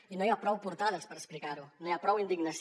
i no hi ha prou portades per explicar ho no hi ha prou indignació